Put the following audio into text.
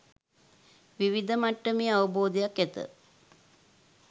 විවිධ මට්ටමේ අවබෝධයක් ඇත.